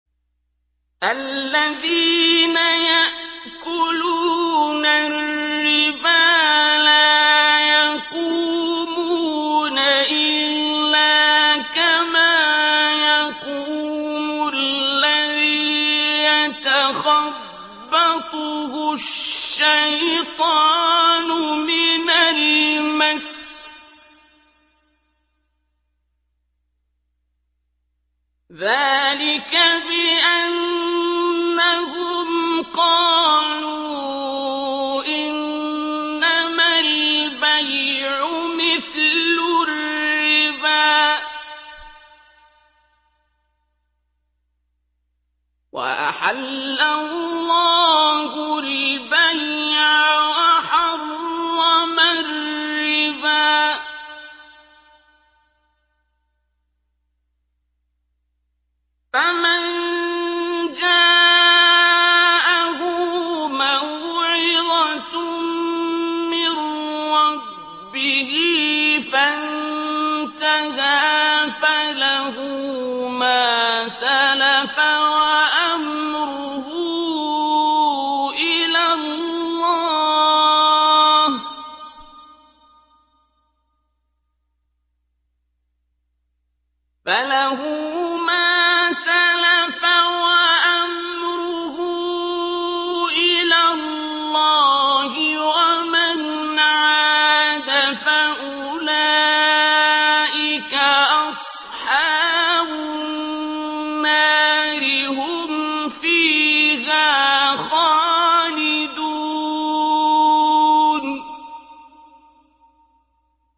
الَّذِينَ يَأْكُلُونَ الرِّبَا لَا يَقُومُونَ إِلَّا كَمَا يَقُومُ الَّذِي يَتَخَبَّطُهُ الشَّيْطَانُ مِنَ الْمَسِّ ۚ ذَٰلِكَ بِأَنَّهُمْ قَالُوا إِنَّمَا الْبَيْعُ مِثْلُ الرِّبَا ۗ وَأَحَلَّ اللَّهُ الْبَيْعَ وَحَرَّمَ الرِّبَا ۚ فَمَن جَاءَهُ مَوْعِظَةٌ مِّن رَّبِّهِ فَانتَهَىٰ فَلَهُ مَا سَلَفَ وَأَمْرُهُ إِلَى اللَّهِ ۖ وَمَنْ عَادَ فَأُولَٰئِكَ أَصْحَابُ النَّارِ ۖ هُمْ فِيهَا خَالِدُونَ